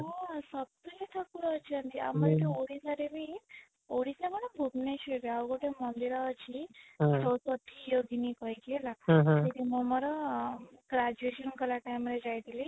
ହଁ ସତରେ ଠାକୁର ଅଛନ୍ତି ଆମ ଯୋଉ ଓଡିଶା ରେ ବି ଓଡିଶା କଣ ଭୁବନେଶ୍ୱର ରେ ଆଉ ଗୋଟେ ମନ୍ଦିର ଅଛି ମୋ ୟୋଗୀନି କହିକି ହେଲା ମୁଁ ମୋର graduation କଲା time ରେ ଯାଇଥିଲି